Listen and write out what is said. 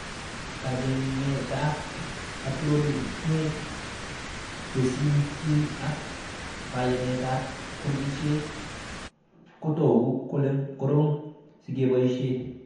Kachengetab uploadenet tesisyit ak keyanetab kurkeshek kotoku kole korom sikeboishe